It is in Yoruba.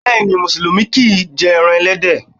Bẹ́ẹ̀ni, musulumi kìí jẹ ẹran ẹlẹ́dẹ̀